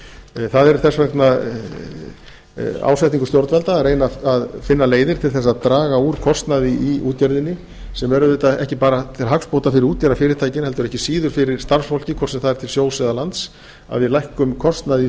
landinu það er þess vegna ásetningur stjórnvalda að reyna að finna leiðir til þess að draga úr kostnaði í útgerðinni sem verður auðvitað ekki bara til hagsbóta fyrir útgerðarfyrirtækin heldur ekki síður fyrir starfsfólkið hvort sem það er til sjós eða lands að við lækkum kostnað í